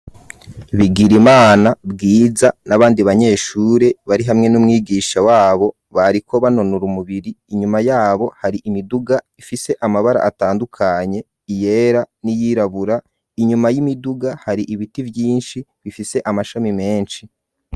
Bigirimana, Bwiza n'abandi banyeshure bari hamwe n'umwigisha wabo bariko banonora umubiri inyuma yabo hari imiduga ifise amabara atandukanye iyera n'iyirabura inyuma y'imiduga hari ibiti vyinshi bifise amashami meshi.